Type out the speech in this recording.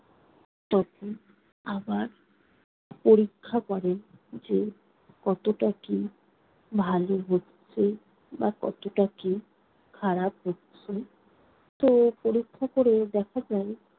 তখন আবার পরীক্ষা করে যে কতটা কি ভালো হচ্ছে বা কতটা কি খারাপ হচ্ছে। তো পরীক্ষা করে দেখা গেল